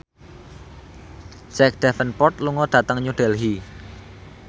Jack Davenport lunga dhateng New Delhi